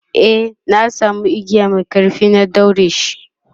e na samu igiya Mai ƙarfi na daureshi